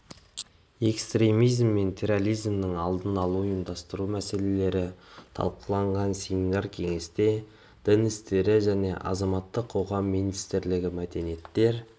экстремизм мен терроризмнің алдын алуды ұйымдастыру мәселелері талқыланған семинар-кеңесте дін істері және азаматтық қоғам министрлігі мәдениеттер